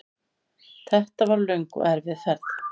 Þetta var löng og erfið ferð.